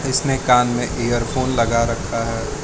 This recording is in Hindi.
उसने कान में इयरफोन लगा रखा है।